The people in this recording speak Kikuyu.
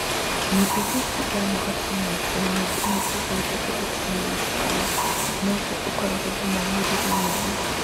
Na pH ya ithano gaturumo ithano nginya ithathatũ gaturumo ithano nĩguo ũkorũo na moimĩrĩro mega.